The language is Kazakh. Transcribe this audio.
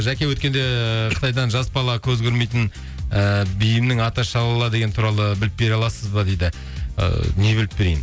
жаке өткенде қытайдан жас бала көзі көрмейтін ііі биімнің аты шалала деген туралы біліп бере аласыз ба дейді ы не біліп берейін